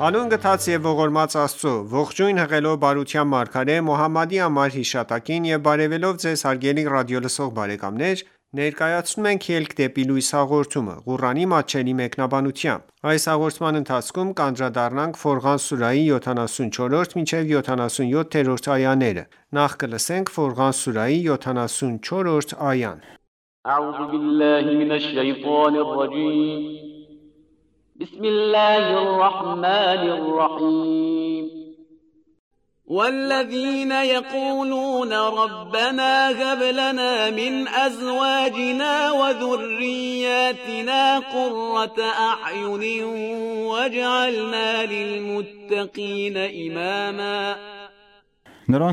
Հանուն գթած և ողորմած Աստծո:Ողջույն հղելով բարության մարգարե Մոհամմադի անմար հիշատակին եւ բարեւելով Ձեզ հարգելի ռադիոլսող բարեկամներ ներկայացնում ենք «Ելք դեպի լույս» հաղորդումը, Ղուրանի մատչելի մեկնաբանությամբ: Ֆորղան սուրահի 74-րդ այա Նրանք,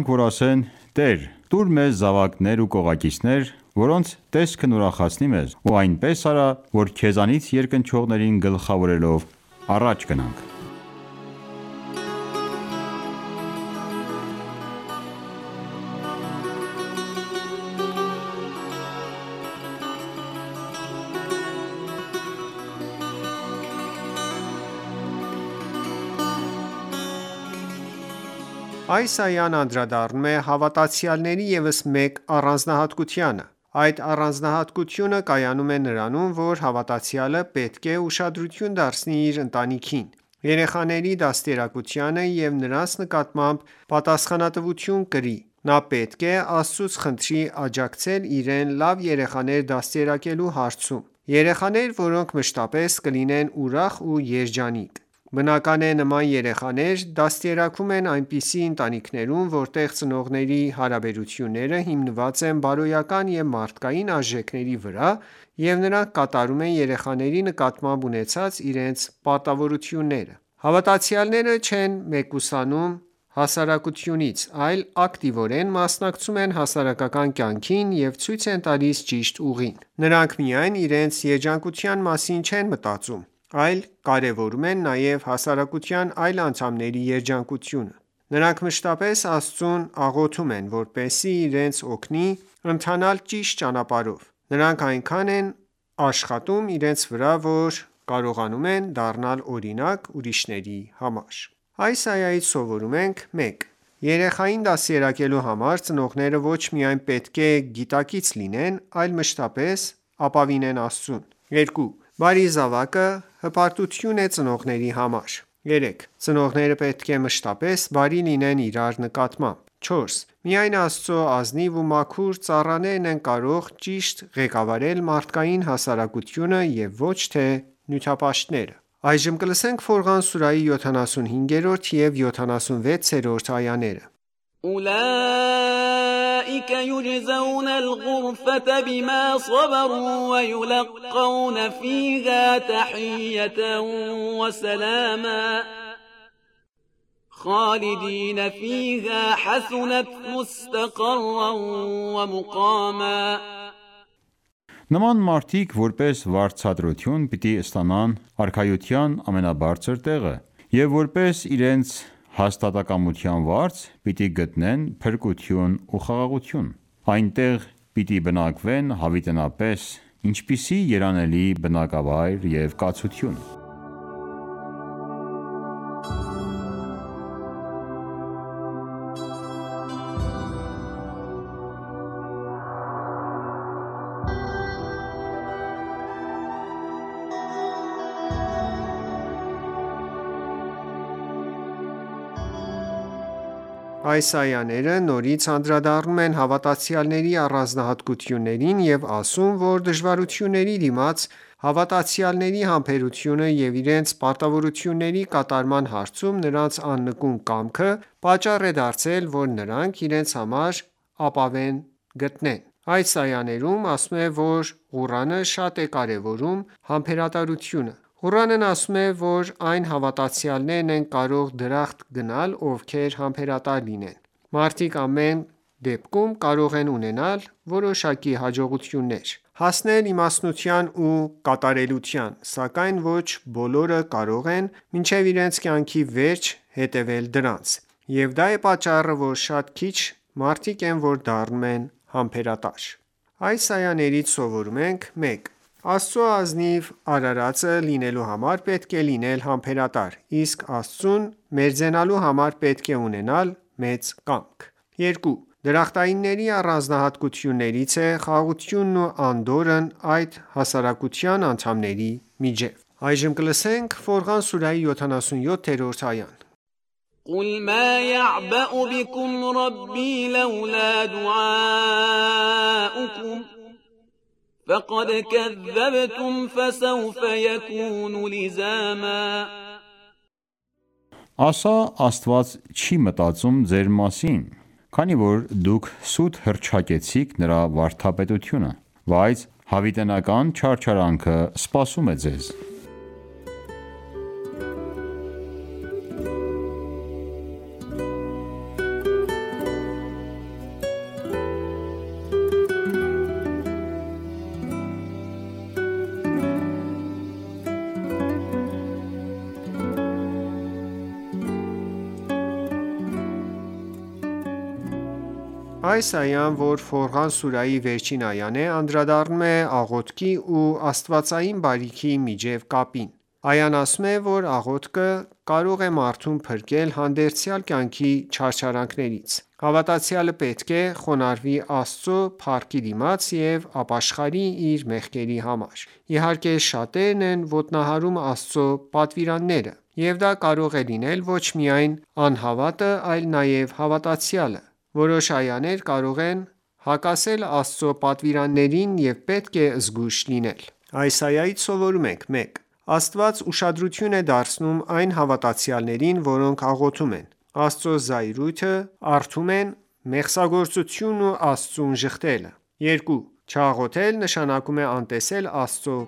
որ ասեն .«Տե՛ր, տուր մեզ զավակներ ու կողակիցներ, որոնց տեսքն ուրախացնի մեզ, ու այնպես արա, որ Քեզանից երկնչողներին գլխավորելով առաջ գնանք»: Այս այան անդրադառնում է հավատացյալների ևս մեկ առանձնահատկությանը: Այդ առանձնահատկությունը կայանում է նրանում, որ հավատացյալը պետք է ուշադրություն դարձնի իր ընտանիքին, երեխաների դաստիարակությանը և նրանց նկատմամբ պատասխանատվություն կրի: Նա պետք է Աստծուց խնդրի աջակցել իրեն՝ լավ երեխաներ դաստիարակելու հարցում:Երեխաներ, որոնք մշտապես կլինեն ուրախ ու երջանիկ։ Բնական է նման երեխաներ դաստիարակվում են այնպիսի ընտանիքերում, որտեղ ծնողների հարաբերությունները հիմնված են բարոյական ու մարդկային արժեքների վրա և նրանք կատարում են երեխաների նկատմամբ ունեցած իրենց պարտավորությունները: Հավատացյալները չեն մեկուսանում հասարակությունից, այլ ակտիվորեն մասնակցում են հասարակական կյանքին և ցույց են տալիս ճիշտ ուղին: Նրանք միայն իրենց երջանկության մասին չեն մտածում, այլ կարևորում են նաև հասարակության այլ անդամների երջանկությունը: Նրանք մշտապես Աստծուն աղոթում են, որպեսզի իրենց օգնի ընթանալ ճիշտ ճանապարհով: Նրանք այնքան են աշխատում իրենց վրա, որ կարողանում են դառնալ օրինակ՝ ուրիշների համար: Այս այայից սովորում ենք․ 1. Երեխային դաստիարակելու համար ծնողները ոչ միայն պետք է գիտակից լինեն, այլ մշտապես ապավինեն Աստծուն: 2. Բարի զավակը հպարտություն է ծնողների համար: 3. Ծնողները պետք է մշտապես բարի լինեն իրար նկատմամբ: 4. Միայն Աստծո ազնիվ ու մաքուր ծառաներն են կարող ճիշտ ղեկավարել մարդկային հասարակությունը և ոչ թե նյութապաշտները: Ֆորղան սուրահի 75 և 76-րդ այաներ أُوْلَئِکَ یُجْزَوْنَ الْغُرْفَةَ بِمَا صَبَرُوا وَیُلَقَّوْنَ فِیهَا تَحِیَّةً وَسَلَامًا خَالِدِینَ فِیهَا حَسُنَتْ مُسْتَقَرًّا وَمُقَامًا Նման մարդիկ որպես վարձատրություն պիտի ստանան արքայության ամենաբարձր տեղը և, որպես իրենց հաստատակամության վարձ, պիտի գտնեն փրկություն ու խաղաղություն: Այնտեղ պիտի բնակվեն հավիտենապես, ինչպիսի՜ երանելի բնակավայր և կացություն: Այս այաները նորից անդրադառնում են հավատացյալների առանձնահատկություններին և ասում, որ դժվարությունների դիմաց հավատացյալների համբերությունը և իրենց պարտավորությունների կատարման հարցում նրանց աննկուն կամքը, պատճառ են դարձել, որ նրանք իրենց համար ապահովեն դրախտը: Այս այաներում ասվում է, որ Ղուրանը շատ է կարևորում համբերատարությունը: Ղուրանն ասում է, որ այն հավատացյալներն են կարող դրախտ գնալ, ովքեր համբերատար լինեն: Մարդիկ ամեն դեպքում կարող են ունենալ որոշակի հաջողություններ, հասնել իմաստնության ու կատարելության, սակայն ոչ բոլորը կարող են մինչև իրենց կյանքի վերջ հետևել դրանց: Եվ դա է պատճառը, որ շատ քիչ մարդիկ են որ դառնում են համբերատար: Այս այաներից սովորում ենք․ 1. Աստծո ազնիվ արարածը լինելու համար, պետք է լինել համբերատար, իսկ Աստծուն մերձենալու համար, պետք է ունենալ մեծ կամք: 2. Դրախտայինների առանձնահատկություններից է խաղաղությունն ու անդորրն այդ հասարակության անդամների միջև: Ֆորղան սուրահի 77-րդ այա قُلْ مَا یَعْبَأُ بِکُمْ رَبِّی لَوْلَا دُعَاؤُکُمْ فَقَدْ کَذَّبْتُمْ فَسَوْفَ یَکُونُ لِزَامًا Ասա` Աստված չի մտածում ձեր մասին, քանի որ դուք սուտ հռչակեցիք Նրա վարդապետությունը: Բայց հավիտենական չարչարանքը սպասում է ձեզ: Այս այան, որ Ֆորղան սուրահի վերջին այան է, անդրադառնում է աղոթքի ու աստվածային բարիքի միջև կապին: Այան ասում է, որ աղոթքը կարող է մարդուն փրկել հանդերձյալ կյանքի չարչարանքներից: Հավատացյալը պետք է խոնարհվի Աստծո փառքի դիմաց ու ապաշխարի իր մեղքերի համար: Իհարկե շատերն են ոտնահարում Աստծո պատվիրանները: Եվ դա կարող է լինել ոչ միայն անհավատը այլ նաև հավատացյալը: Որոշ այաներ կարող են հակասել Աստծո պատվիրաններին և պետք է զգույշ լինել: Այս այայից սովորում ենք․ 1. Աստված ուշադրություն է դարձնում այն հավատացյալներին, որոնք աղոթում են: Աստծո զայրույթը առթում են մեղսագործությունն ու Աստծուն ժխտելը: 2. Չաղոթել, նշանակում է անտեսել Աստծո